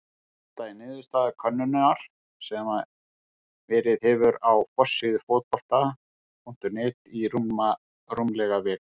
Þetta er niðurstaða könnunar sem verið hefur á forsíðu Fótbolta.net í rúmlega viku.